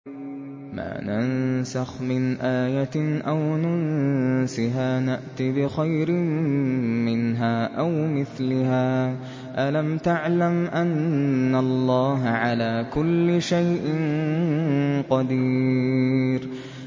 ۞ مَا نَنسَخْ مِنْ آيَةٍ أَوْ نُنسِهَا نَأْتِ بِخَيْرٍ مِّنْهَا أَوْ مِثْلِهَا ۗ أَلَمْ تَعْلَمْ أَنَّ اللَّهَ عَلَىٰ كُلِّ شَيْءٍ قَدِيرٌ